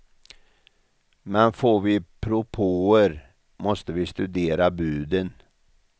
Men får vi propåer, måste vi studera buden.